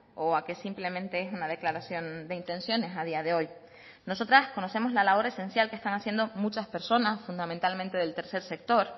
o a que simplemente es una declaración de intenciones a día de hoy nosotras conocemos la labor esencial que están haciendo muchas personas fundamentalmente del tercer sector